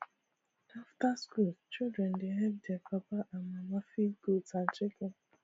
after school children dey help their papa and mama feed goat and chicken